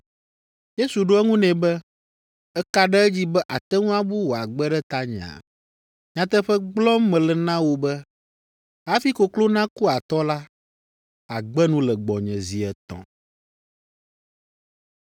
Yesu ɖo eŋu nɛ be, “Èka ɖe edzi be àte ŋu abu wò agbe ɖe tanyea? Nyateƒe gblɔm mele na wò be, hafi koklo naku atɔ la, àgbe nu le gbɔnye zi etɔ̃.”